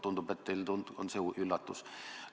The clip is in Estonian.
Tundub, et teile on see üllatus.